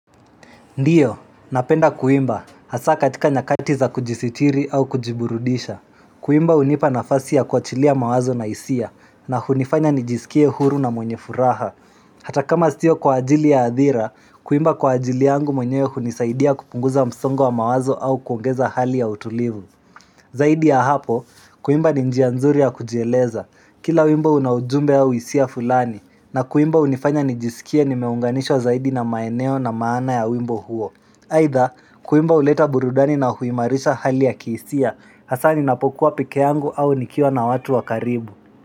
Ndiyo, napenda kuimba, hasa katika nyakati za kujisitiri au kujiburudisha Kuimba hunipa nafasi ya kuachilia mawazo na hisia na hunifanya nijisikie huru na mwenye furaha Hata kama siyo kwa ajili ya adhira Kuimba kwa ajili yangu mwenye hunisaidia kupunguza msongo wa mawazo au kuongeza hali ya utulivu Zaidi ya hapo, kuimba ni njia nzuri ya kujieleza Kila wimbo una ujumbe au hisia fulani na kuimba unifanya nijisikie nimeunganishwa zaidi na maeneo na maana ya wimbo huo Aidha kuimba huleta burudani na huimarisha hali ya kihisia Hasa ninapokuwa pekee yangu au nikiwa na watu wa karibu.